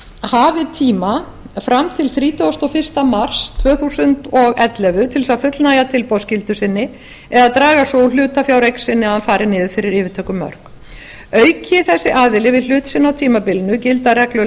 hafi tíma fram til þrítugasta og fyrsta mars tvö þúsund og ellefu til þess að fullnægja tilboðsskyldu sinni eða að draga svo úr hlutafjáreign sinni að hún fari niður fyrir yfirtökumörk auki geti aðili við hlut sinn á tímabilinu gilda reglur